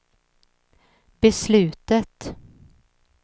beslutet